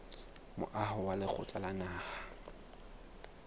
moaho wa lekgotla la naha